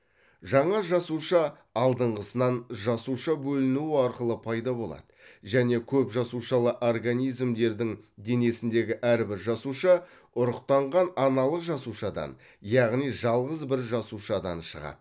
жаңа жасуша алдыңғысынан жасуша бөлінуі арқылы пайда болады және көпжасушалы организмдердің денесіндегі әрбір жасуша ұрықтанған аналық жасушадан яғни жалғыз бір жасушадан шығады